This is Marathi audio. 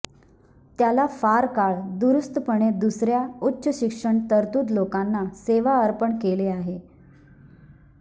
त्याला फार काळ दूरस्थपणे दुसऱ्या उच्च शिक्षण तरतूद लोकांना सेवा अर्पण केले आहे